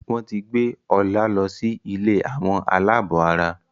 wón tí gbé Ola ló sì ilé Àwọn alabó àrà.